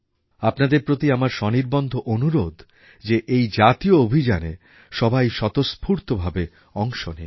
আপনাদের প্রতি আমার সনির্বন্ধ অনুরোধ যে এই জাতীয় অভিযানে সবাই স্বতঃস্ফূর্তভাবে অংশ নিন